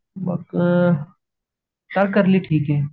मग ह तारकर्ली ठीके